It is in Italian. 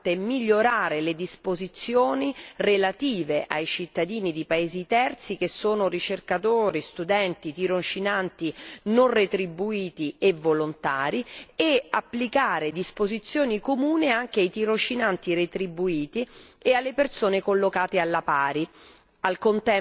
È importante migliorare le disposizioni relative ai cittadini di paesi terzi, che sono ricercatori, studenti, tirocinanti non retribuiti e volontari, e applicare disposizioni comuni anche ai tirocinanti retribuiti e alle persone collocate alla pari.